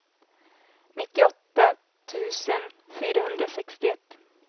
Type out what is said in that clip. nittioåtta tusen fyrahundrasextioett